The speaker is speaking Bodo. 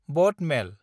बआट मेल